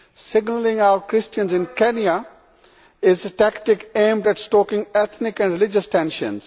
Singling out Christians in Kenya is a tactic aimed at stoking ethnic and religion tensions.